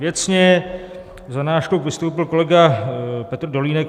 Věcně za náš klub vystoupil kolega Petr Dolínek.